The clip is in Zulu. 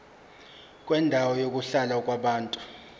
kwendawo yokuhlala yabantu